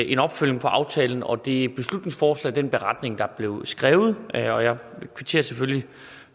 en opfølgning på aftalen og det beslutningsforslag og den beretning der blev skrevet og jeg kvitterer selvfølgelig